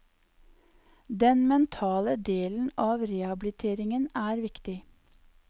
Den mentale delen av rehabiliteringen er viktig.